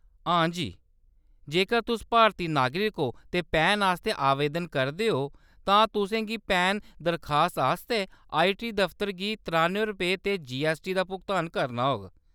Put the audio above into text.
हां जी, जेकर तुस भारती नागरिक ओ ते पैन आस्तै आवेदन करदे ओ , तां तुसें फी पैन दरखास्त आस्तै आईटी दफतर गी त्रानुएं रपेऽ ते जीऐस्सटी दा भुगतान करना होग।